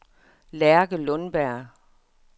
Lærke Lundberg